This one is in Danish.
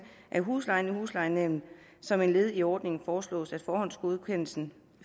af huslejen i huslejenævnet som et led i ordningen foreslås det at forhåndsgodkendelsen